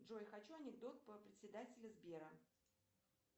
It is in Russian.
джой хочу анекдот про председателя сбера